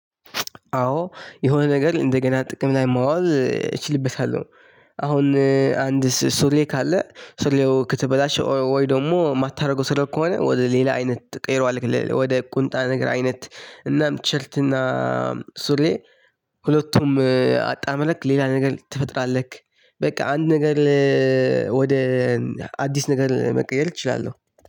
አዎ የሆነ ነገር እንደገና ጥቅም ላይ ማዋል እችልበታለሁ። አሁን አንድ ሱሪ ካለ ሱሪው ከተበላሸ ወይ ደግሞ የማታደርገው ከሆነ ወደ ሌላ አይነት ትቀይረዋለህ ወደ ቁንጣ ነገር አይነት። እናም ቲሸርት እና ሱሪ ሁለቱም አጣምረክ ሌላ ነገር ትፈጥራለህ። በቃ አንድ ነገር ወደ አዲስ ነገር መቀየር እችላለሁ።